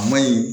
A ma ɲi